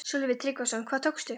Sölvi Tryggvason: Hvað tókstu?